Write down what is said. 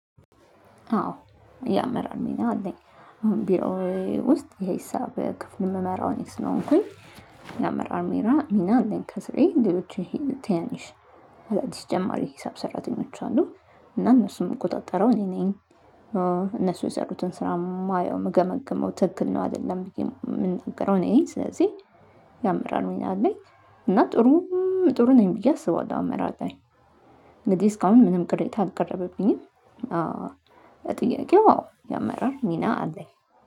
አዎ እያመራን ነው አለኝ። አሁን ቢሮ ውስጥ ይሄ ሂሳብ ክፍል የምመራው እኔ ስለሆንኩኝ የአመራር ሜራ ሚና እንዴት? ከስርዬ እንዴዎች ይሄ ትያንሽ። አራት ሺህ ጀማሪ ሂሳብ ሰራተኞች አንዱ እና እነሱም እንቆጣጠረው እኔ ነኝ። እነሱ የሰሩትን ስራ የማየው የምገመግመው ትክክል ነው አይደለም ብዬ የምንነግረው እኔ ስለዚህ። ያመራር ወይና አለኝ። እና ጥሩ ጥሩ ነኝ ብዬ አስባለሁ አመራር ላይ። እንግዲህ እስካሁን ምንም ቅሬታ አቀረበብኝም። ጥያቄው ያመራር ሚና አለኝ